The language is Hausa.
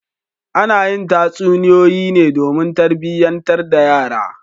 Ana yi tatsunoyoyi ne domin tarbiyantar da yara.